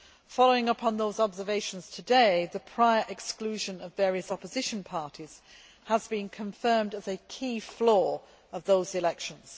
Following up on those observations today, the prior exclusion of various opposition parties has been confirmed as a key flaw of those elections.